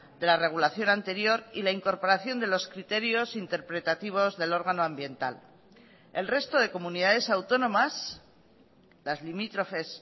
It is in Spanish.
de la regulación anterior y la incorporación de los criterios interpretativos del órgano ambiental el resto de comunidades autónomas las limítrofes